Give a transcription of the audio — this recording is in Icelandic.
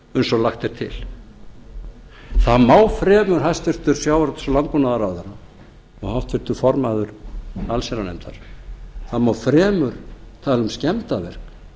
eins og lagt er til það má fremur hæstvirtum sjávarútvegs og landbúnaðarráðherra og háttvirtur formaður allsherjarnefndar það má fremur tala um skemmdarverk